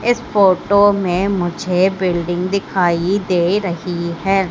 इस फोटो में मुझे बिल्डिंग दिखाई दे रही है।